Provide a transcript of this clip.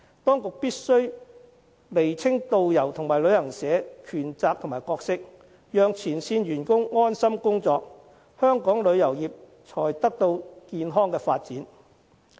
當局必須釐清導遊與旅行社的權責和角色，讓前線員工安心工作，香港旅遊業才可健康發展。